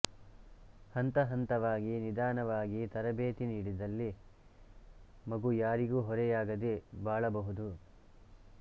ಹಂತಹಂತವಾಗಿ ನಿಧಾನವಾಗಿ ತರಬೇತಿ ನೀಡಿದಲ್ಲಿ ಮಗು ಯಾರಿಗೂ ಹೊರೆಯಾಗದೆ ಬಾಳಬಹುದು